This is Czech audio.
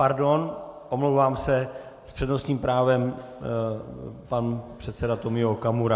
Pardon, omlouvám se, s přednostním právem pan předseda Tomio Okamura.